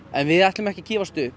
en við ætlum ekki að gefast upp